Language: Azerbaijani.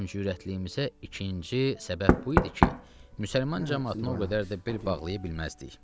Kəm cürətliyimizə ikinci səbəb bu idi ki, müsəlman camaatına o qədər də bel bağlaya bilməzdik.